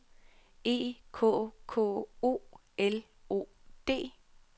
E K K O L O D